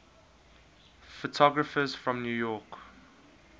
photographers from new york